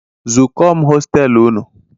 Zụko m hostelu unu!